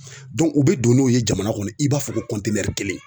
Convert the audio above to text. u bɛ don n'o ye jamana kɔnɔ i b'a fɔ ko kelen